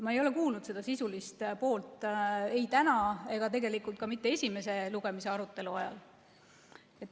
Ma ei ole kuulnud sisulist poolt ei täna ega tegelikult ka mitte esimese lugemise arutelu ajal.